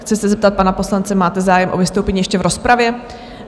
Chci se zeptat pana poslance, máte zájem o vystoupení ještě v rozpravě?